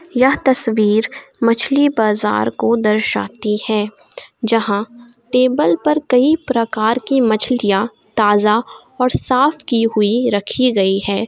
यह तस्वीर मछली बाजार को दर्शाती है जहां टेबल पर कई प्रकार की मछलियां ताज़ा और साफ की हुई रखी गई है।